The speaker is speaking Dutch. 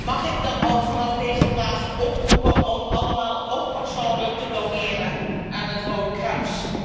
Mag ik dan ook vanaf deze plaats oproepen om allemaal ook persoonlijk te doneren aan het Rode Kruis?